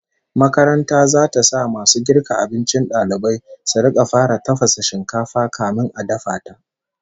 Makaranta zata sa masu girka abincin dalibai su rika fara tafasa shinkafa kafin a dafa ta